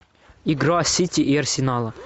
игра сити и арсенала